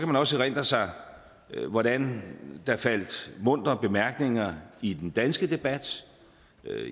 man også erindre sig hvordan der faldt muntre bemærkninger i den danske debat